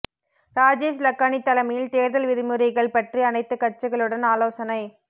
ராஜேஷ் லக்கானி தலைமையில் தேர்தல் விதிமுறைகள் பற்றி அனைத்து கட்சிகளுடன் ஆலோசனை